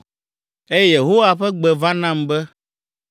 Eye Yehowa ƒe gbe va nam be,